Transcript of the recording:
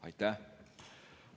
Aitäh!